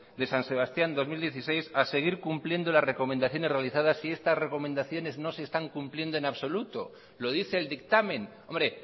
de san sebastián dos mil dieciséis a seguir cumpliendo las recomendaciones realizadas si estas recomendaciones no se están cumpliendo en absoluto lo dice el dictamen hombre